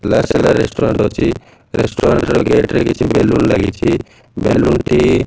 restaurant ଅଛି restaurant ର gate ରେ କିଛି ବେଲୁନ୍ ଲାଗିଚି ବେଲୁନ୍ ଟି --